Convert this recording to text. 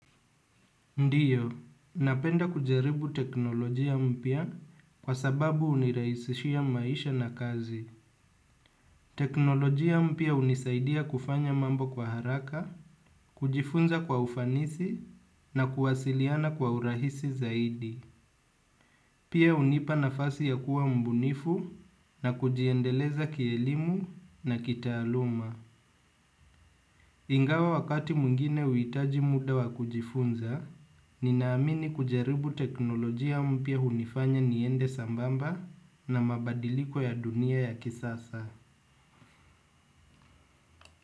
Ndio, napenda kujaribu teknolojia mpya kwa sababu hunirahisishia maisha na kazi. Teknolojia mpya hunisaidia kufanya mambo kwa haraka, kujifunza kwa ufanisi na kuwasiliana kwa urahisi zaidi. Pia hunipa nafasi ya kuwa mbunifu na kujiendeleza kielimu na kitaaluma. Ingawa wakati mwingine huhitaji muda wa kujifunza. Ninaamini kujaribu teknolojia mpya, hunifanya niende sabamba na mabadiliko ya dunia ya kisasa.